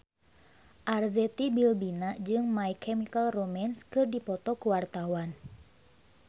Arzetti Bilbina jeung My Chemical Romance keur dipoto ku wartawan